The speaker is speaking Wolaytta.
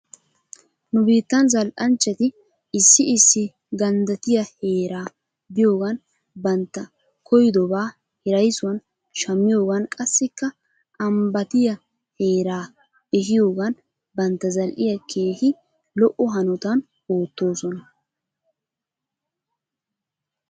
Nu biittaa zal''anchchati issi issi ganddatiya heeraa biyogan bantta koyidobaa hiraysuwan shammiyogan qassikka ambbatiya heeraa ehiyogan bantta zal''iyaa keehi lo'o hanotan ootoosaona.